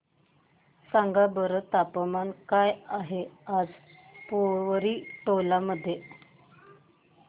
सांगा बरं तापमान काय आहे आज पोवरी टोला मध्ये